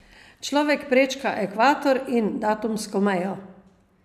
Človek prečka ekvator in datumsko mejo.